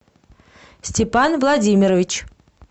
степан владимирович